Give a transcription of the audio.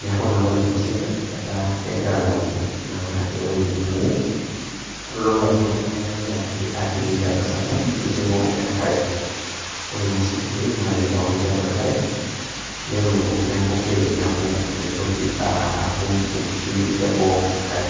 neaku naa ore kulo sinkirr etaa naa kegira alayu naa ewueji netonie anaa keitodolu ajo kegira ake atii ninche atua esarng'ab neiting'o enkare. Ore naa osinkirri nelo neitauni tiatua enkare keaku nelo neaku meitoki atum enkishui te boo enkare.